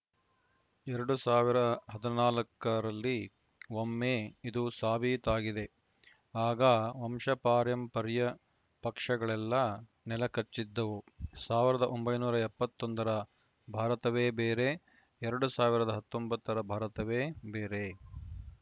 ಎರಡ್ ಸಾವಿರ ಹದಿನಾಲ್ಕ ರಲ್ಲಿ ಒಮ್ಮೆ ಇದು ಸಾಬೀತಾಗಿದೆ ಆಗ ವಂಶಪಾರಂಪರ್ಯ ಪಕ್ಷಗಳೆಲ್ಲ ನೆಲಕಚ್ಚಿದ್ದವು ಸಾವಿರದ ಒಂಬೈನೂರ ಎಪ್ಪತ್ತ್ ಒಂದರ ಭಾರತವೇ ಬೇರೆ ಎರಡ್ ಸಾವಿರದ ಹತ್ತೊಂಬತ್ತ ರ ಭಾರತವೇ ಬೇರೆ